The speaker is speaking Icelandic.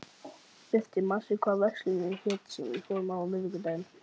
Birtir, manstu hvað verslunin hét sem við fórum í á miðvikudaginn?